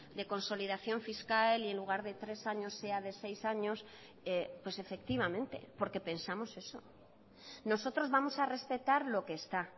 de consolidación fiscal y en lugar de tres años sea de seis años pues efectivamente porque pensamos eso nosotros vamos a respetar lo que está